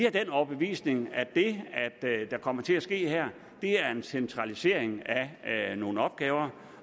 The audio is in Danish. af den overbevisning at det der kommer til at ske her er en centralisering af nogle opgaver